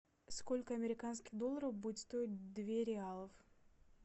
сколько американских долларов будет стоить две реалов